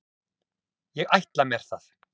Ég ætla mér það.